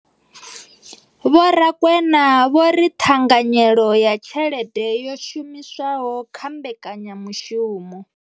Vho Rakwena vho ri ṱhanganyelo ya tshelede yo shumiswaho kha mbekanyamushumo.